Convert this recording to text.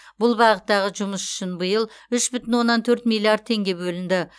бұл бағыттағы жұмыс үшін биыл үш бүтін оннан төрт миллиард теңге бөлінді